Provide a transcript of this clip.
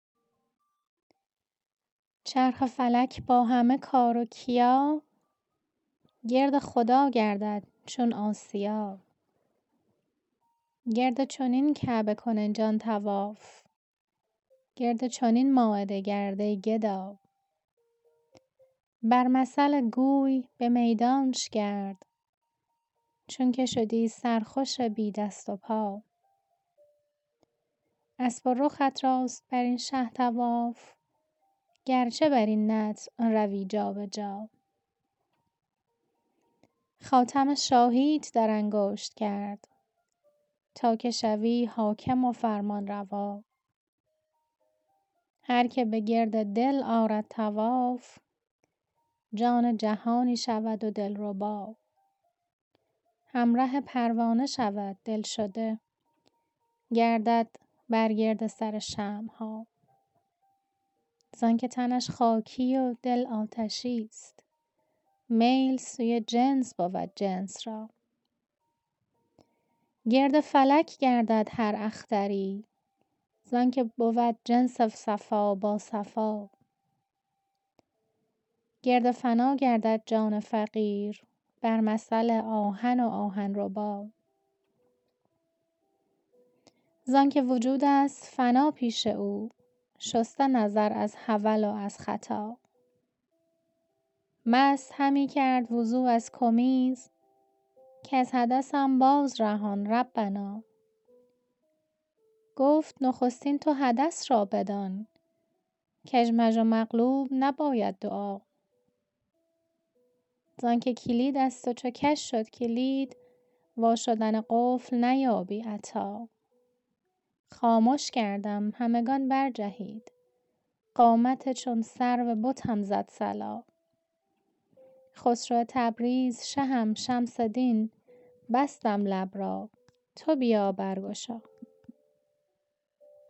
چرخ فلک با همه کار و کیا گرد خدا گردد چون آسیا گرد چنین کعبه کن ای جان طواف گرد چنین مایده گرد ای گدا بر مثل گوی به میدانش گرد چونک شدی سرخوش بی دست و پا اسب و رخت راست بر این شه طواف گرچه بر این نطع روی جا به جا خاتم شاهی ت در انگشت کرد تا که شوی حاکم و فرمانروا هر که به گرد دل آرد طواف جان جهانی شود و دلربا همره پروانه شود دل شده گردد بر گرد سر شمع ها زانک تنش خاکی و دل آتشی ست میل سوی جنس بود جنس را گرد فلک گردد هر اختری زانک بود جنس صفا با صفا گرد فنا گردد جان فقیر بر مثل آهن و آهن ربا زانک وجود ست فنا پیش او شسته نظر از حول و از خطا مست همی کرد وضو از کمیز کز حدثم بازرهان ربنا گفت نخستین تو حدث را بدان کژمژ و مقلوب نباید دعا زانک کلید ست و چو کژ شد کلید وا شدن قفل نیابی عطا خامش کردم همگان برجهید قامت چون سرو بتم زد صلا خسرو تبریز شهم شمس دین بستم لب را تو بیا برگشا